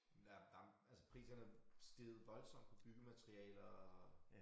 Men der der altså priserne er steget voldsomt på byggematerialer og